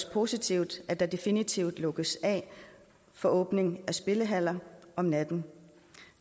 positivt at der definitivt lukkes af for åbning af spillehaller om natten